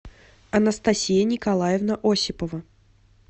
анастасия николаевна осипова